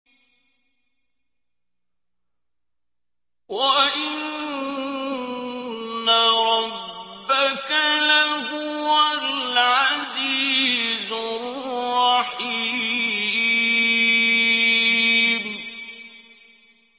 وَإِنَّ رَبَّكَ لَهُوَ الْعَزِيزُ الرَّحِيمُ